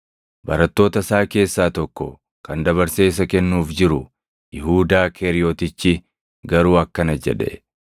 Barattoota isaa keessaa tokko kan dabarsee isa kennuuf jiru Yihuudaa Keeriyotichi garuu akkana jedhe;